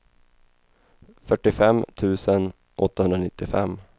fyrtiofem tusen åttahundranittiofem